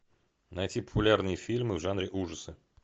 найти популярные фильмы в жанре ужасы